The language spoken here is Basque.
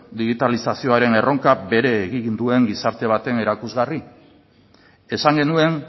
digitalizazioaren erronka bere egin duen gizarte baten erakusgarri esan genuen